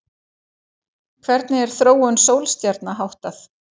Hvernig er þróun sólstjarna háttað?